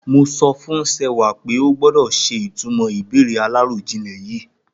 Mo sọ fún Sewà pé ó gbọ́dọ̀ ṣe ìtumọ̀ ìbéèrè aláròjinlè yìí.